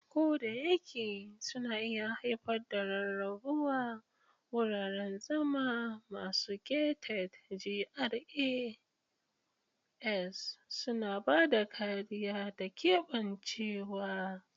Kodayake suna iya haifar da rarrabuwa, wuraren zama masu gated (GRAs) suna ba da kariya da keɓancewa.